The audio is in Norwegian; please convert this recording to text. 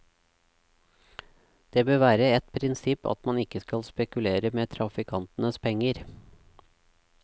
Det bør være et prinsipp at man ikke skal spekulere med trafikantenes penger.